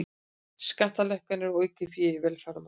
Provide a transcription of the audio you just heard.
Skattalækkanir og aukið fé í velferðarmál